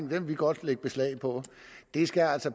vil vi godt lægge beslag på det skal altså